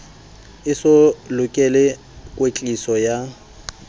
e so lokele kwetliso ya